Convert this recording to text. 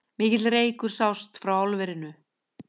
Mikill reykur sást frá álverinu